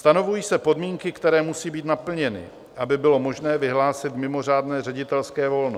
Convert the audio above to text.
Stanovují se podmínky, které musí být naplněny, aby bylo možné vyhlásit mimořádné ředitelské volno.